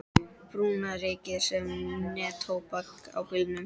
Brúna rykið sem neftóbak á bílnum.